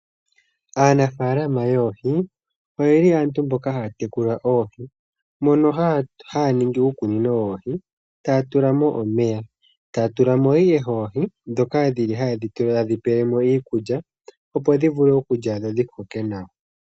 Aanaafalama yoohi oye li aantu mbono haya tekula oohi mono haya ningi uukunino woohi, taya tula mo omeya taya tula mo ihe oohi ndhoka haye dhi pele mo iikulya, opo dhi vule okulya dho dhi koke nawa.